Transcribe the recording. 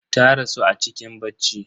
Ta rasu a cikin bacci.